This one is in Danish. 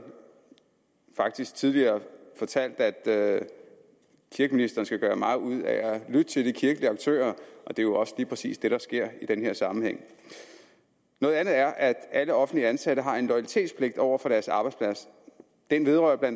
faktisk tidligere fortalt at kirkeministeren skal gøre meget ud af at lytte til de kirkelige aktører og det er jo også lige præcis det der sker i den her sammenhæng noget andet er at alle offentligt ansatte har en loyalitetspligt over for deres arbejdsplads den vedrører bla